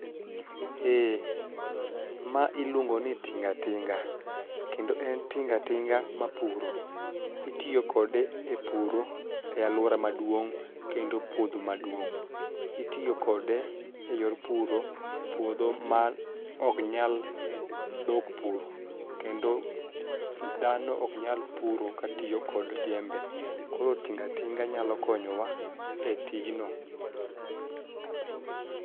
Eh, ma iluongo ni tinga tinga kendo en tinga tinga mapuro. Itiyo kode e puro e alwora maduong' kendo puodho maduong' .Itiyo kode e yor puro puodho maok nyal dhok puro kendo dhano oknyal puro katiyo kod jembe koro tingatinga nyalo konyowa e tijno.